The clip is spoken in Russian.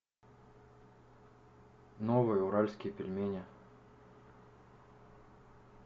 новые уральские пельмени